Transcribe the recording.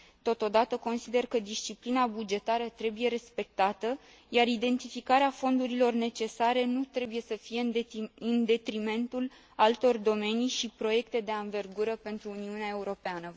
Totodată, consider că disciplina bugetară trebuie respectată, iar identificarea fondurilor necesare nu trebuie să fie în detrimentul altor domenii și proiecte de anvergură pentru Uniunea Europeană.